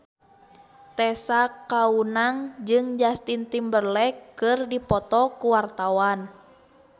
Tessa Kaunang jeung Justin Timberlake keur dipoto ku wartawan